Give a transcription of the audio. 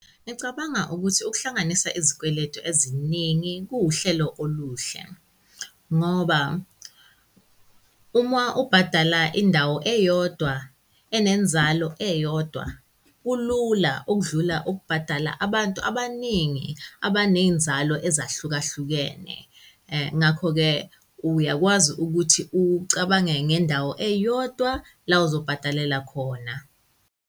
Ngicabanga ukuthi ukuhlanganisa izikweletu eziningi kuwuhlelo oluhle ngoba uma ubhadala indawo eyodwa enenzalo eyodwa, kulula ukudlula ukubhadala abantu abaningi abaney'nzalo ezahlukahlukene. Ngakho-ke uyakwazi ukuthi ucabange ngendawo eyodwa la ozobhadalela khona.